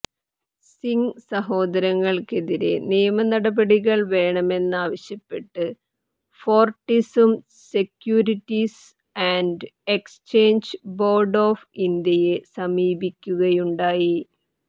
സിങ് സഹോദരങ്ങൾക്കെതിരെ നിയമനടപടികൾ വേണമെന്നാവശ്യപ്പെട്ട് ഫോർട്ടിസ്സും securities and exchange board of ഇന്ത്യയെ സമീപിക്കുകയുണ്ടായി